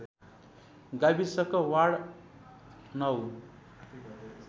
गाविसको वार्ड ९